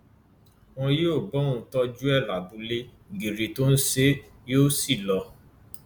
wọn yóò bá òun tọjú ẹ lábúlé gírí tó ń ṣe é yóò sì lọ